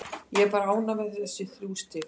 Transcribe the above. Ég er bara ánægð með þessi þrjú stig.